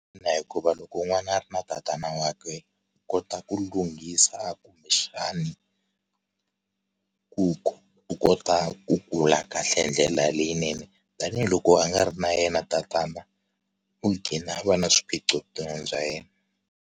Ina, hikuva loko n'wana a ri na tatana wakwe i kota ku lunghisa kumbexani ku ku u kota ku kula kahle hi ndlela leyinene tanihiloko a nga ri na yena tatana u qhina a va na swiphiqo vuton'wini bya yena.